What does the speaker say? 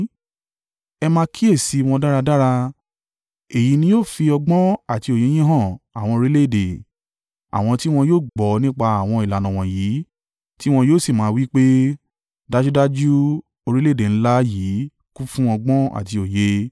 Ẹ máa kíyèsi wọn dáradára. Èyí ni yóò fi ọgbọ́n àti òye yín han àwọn orílẹ̀-èdè. Àwọn tí wọn yóò gbọ́ nípa àwọn ìlànà wọ̀nyí, tí wọn yóò sì máa wí pé, “Dájúdájú, orílẹ̀-èdè ńlá yìí kún fún ọgbọ́n àti òye.”